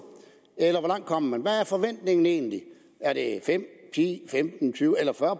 eller hvor langt kom man hvad er forventningen egentlig er det fem ti femten tyve eller fyrre